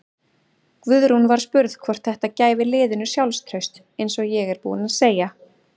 Guðrún var spurð hvort þætta gæfi liðinu sjálfstraust: Eins og ég er búinn að segja.